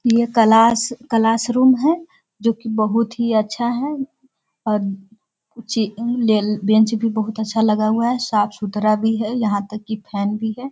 ये class - classroom है जो की बहुत ही अच्छा है और ची लें बेंच भी बहुत अच्छा लगा हुआ है साफ-सुथरा भी है यह तक की फैन भी है।